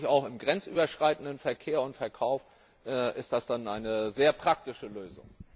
Auch im grenzüberschreitenden Verkehr und Verkauf ist das dann eine sehr praktische Lösung.